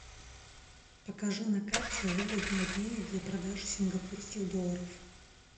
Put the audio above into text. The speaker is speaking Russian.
покажи на карте выгодный обменник для продажи сингапурских долларов